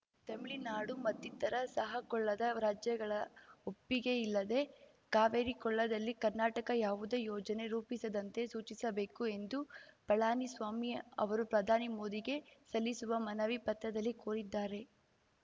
ತೆಮಿಳುನಾಡು ಮತ್ತಿತ್ತರ ಸಹಕೊಳ್ಳದ ರಾಜ್ಯಗಳ ಒಪ್ಪಿಗೆಯಿಲ್ಲದೆ ಕಾವೇರಿ ಕೊಳ್ಳದಲ್ಲಿ ಕರ್ನಾಟಕ ಯಾವುದೇ ಯೋಜನೆ ರೂಪಿಸದಂತೆ ಸೂಚಿಸಬೇಕು ಎಂದು ಪಳನಿ ಸ್ವಾಮಿ ಅವರು ಪ್ರಧಾನಿ ಮೋದಿಗೆ ಸಲ್ಲಿಸುವ ಮನವಿ ಪತ್ರದಲ್ಲಿ ಕೋರಿದ್ದಾರೆ